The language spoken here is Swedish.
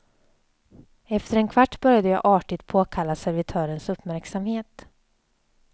Efter en kvart började jag artigt påkalla servitörens uppmärksamhet.